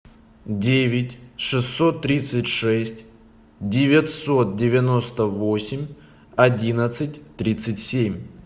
девять шестьсот тридцать шесть девятьсот девяносто восемь одиннадцать тридцать семь